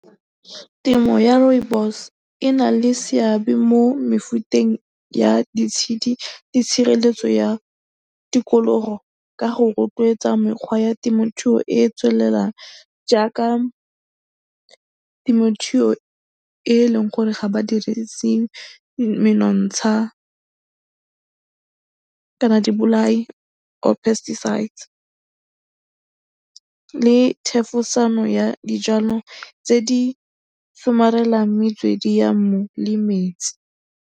Temo ya rooibos e na le seabe mo mefuteng ya ditshedi le tshireletso ya tikologo ka go rotloetsa mekgwa ya temothuo e e tswelelang jaaka temothuo e eleng gore ga ba dirise menontsha kana dibolai or pesticides le thefosano ya dijwalo tse di somarelang metswedi ya mmu le metsi.